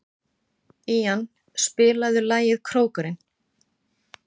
Ían, spilaðu lagið „Krókurinn“.